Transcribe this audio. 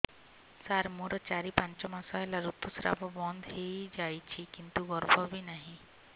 ସାର ମୋର ଚାରି ପାଞ୍ଚ ମାସ ହେଲା ଋତୁସ୍ରାବ ବନ୍ଦ ହେଇଯାଇଛି କିନ୍ତୁ ଗର୍ଭ ବି ନାହିଁ